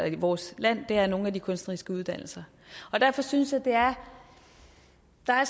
i vores land er nogle af de kunstneriske uddannelser derfor synes at der er